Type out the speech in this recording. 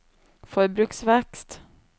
forbruksvekst